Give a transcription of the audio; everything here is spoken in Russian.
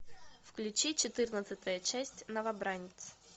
включи четырнадцатая часть новобранец